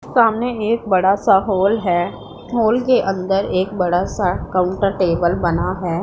सामने एक बड़ा सा हॉल है हॉल के अंदर एक बड़ा सा काउंटर टेबल बना है।